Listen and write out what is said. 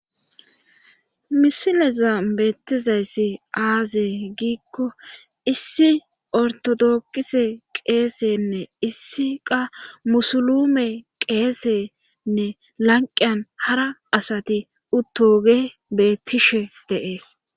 Misileza beettizayssi aaze giikko issi ortodokise qeesenne issi qa musulume qeesenne lanqiyan hara asati uttoge bettishe deees